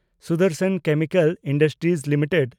Sudarshan Chemical Industries limited